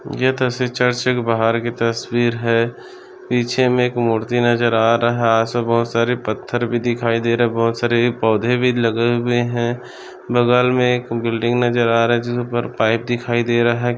ये तस्वीर चर्च के बाहर की तस्वीर हैं पीछे मे एक मूर्ति नजर आ रहा हैं बहुत सारे पत्थर भी दिखाई दे रहे है बहुत सारे पौधे भी लगे हुए है बगल मे एक बिल्डिंग नजर आ रहा है जिसपर पाइप दिखाई दे रहा है।